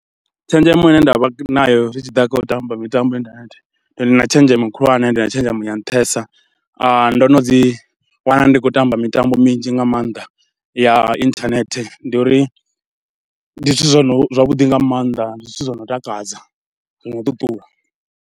Tshenzhemo ine nda vha nayo zwi tshi ḓa kha u tamba mitambo kha inthanethe, ndi na tshenzhemo khulwane, ndi na tshenzhemo ya nṱhesa, ndo no ḓiwana ndi khou tamba mitambo minzhi nga maanḓa ya inthanethe. Ndi uri, ndi zwithu zwo no, zwavhuḓi nga maanḓa, ndi zwithu zwo no takadza, zwi no ṱuṱula